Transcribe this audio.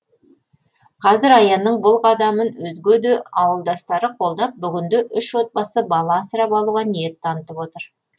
қазір аянның бұл қадамын өзге де ауылдастары қолдап бүгінде үш отбасы бала асырап алуға ниет танытып отыр